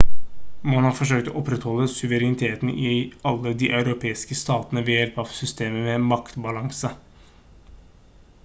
man har forsøkt å opprettholde suvereniteten i alle de europeiske statene ved hjelp av systemet med maktbalanse